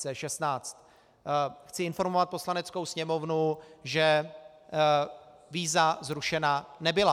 - Chci informovat Poslaneckou sněmovnu, že víza zrušena nebyla.